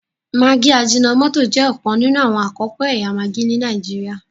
maggi ajinomoto jẹ òkan nínú àwọn akọko ẹyà maggi ní Nàìjíríà